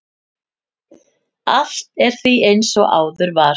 Allt er því eins og áður var.